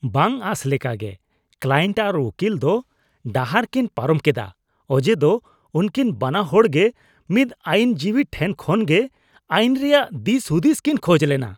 ᱵᱟᱝ ᱟᱥ ᱞᱮᱠᱟᱜᱮ, ᱠᱞᱟᱭᱮᱱᱴ ᱟᱨ ᱩᱠᱤᱞ ᱫᱚ ᱰᱟᱦᱟᱨ ᱠᱤᱱ ᱯᱟᱨᱚᱢ ᱠᱮᱫᱟ, ᱚᱡᱮ ᱫᱚ ᱩᱱᱠᱤᱱ ᱵᱟᱱᱟ ᱦᱚᱲ ᱜᱮ ᱢᱤᱫ ᱟᱹᱭᱤᱱ ᱡᱤᱵᱤ ᱴᱷᱮᱱ ᱠᱷᱚᱱᱜᱮ ᱟᱭᱤᱱ ᱨᱮᱭᱟᱜ ᱫᱤᱥᱼᱦᱩᱫᱤᱥ ᱠᱤᱱ ᱠᱷᱚᱡ ᱞᱮᱱᱟ ᱾